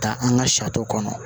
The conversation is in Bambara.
Ka taa an ka kɔnɔ